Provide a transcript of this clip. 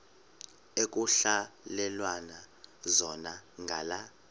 ekuhhalelwana zona ngala